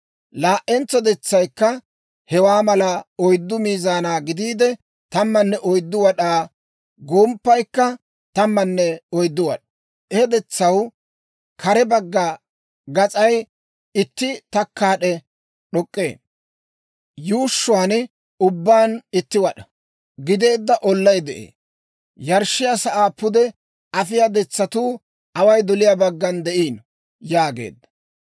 Laa"entso detsaykka hewaa mala oyddu mizana gidiide, 14 wad'aa, gomppaykka 14 wad'aa. He detsaw kare bagga gas'ay itti takkaad'e d'ok'k'ee. Yuushshuwaa ubbaan itti wad'aa gideedda ollay de'ee. Yarshshiyaa sa'aa pude afiyaa detsatuu away doliyaa baggan de'iino» yaageedda.